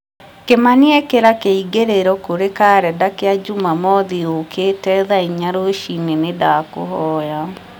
kĩmani ĩkĩra kĩingĩrĩro kũri karenda kĩa njumamothi yũkĩte thaa inya rũciinĩ nĩ ndakũhoya